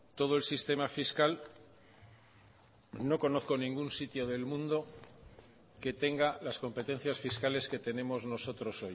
todo el sistema fiscal no conozco ningún sitio del mundo que tenga las competencias fiscales que tenemos nosotros